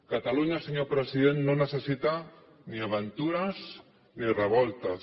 catalunya senyor president no necessita ni aventures ni revoltes